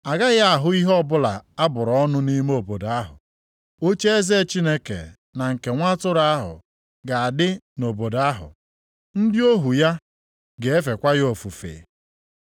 A gaghị ahụ ihe ọbụla a bụrụ ọnụ nʼime obodo ahụ. Ocheeze Chineke na nke Nwa atụrụ ahụ ga-adị nʼobodo ahụ. Ndị ohu ya ga-efekwa ya ofufe.